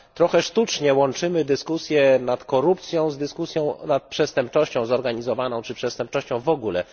Trochę sztucznie łączymy dyskusję nad korupcją z dyskusją nad przestępczością zorganizowaną czy przestępczością w ogóle.